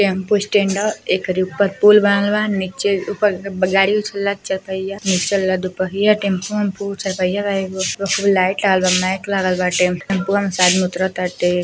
Tempo stand ह। एकरी ऊपर पुल बनल बा। नीचे ऊपर ब गाड़ी उछलत जा तिया। नीचे वाला दुपहिया टेम्पो ओम्पु चारपहिया बा एगो। ओपे खूब लाइट लागल बा माइक लागल बाटे। टेंपुआ में से आदमी उतरताटे।